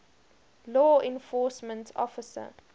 law enforcement officer